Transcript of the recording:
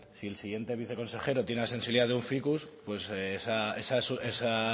si el siguiente viceconsejero tiene la sensibilidad de un ficus pues esa